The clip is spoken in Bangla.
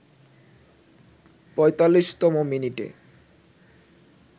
৪৫তম মিনিটে